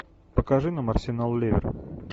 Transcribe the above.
покажи нам арсенал ливер